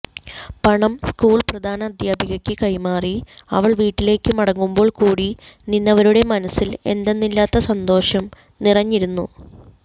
പണം സ്കൂൾ പ്രധാന അധ്യാപികക്ക് കൈമാറി അവൾ വീട്ടിലേക്ക് മടങ്ങുമ്പോൾ കൂടി നിന്നവരുടെ മനസ്സിൽ എന്തെന്നില്ലാത്ത സന്തോഷം നിറഞ്ഞിരുന്നു